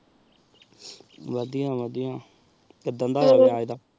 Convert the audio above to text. ਅਦਿਯਾ ਵਾਦਿਯ ਕਿਦਾਂ ਦਾ ਕਿਰਾਏਦਾਰ